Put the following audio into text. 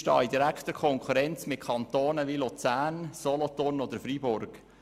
Wir stehen in direkter Konkurrenz mit Kantonen wie Luzern, Solothurn oder Freiburg.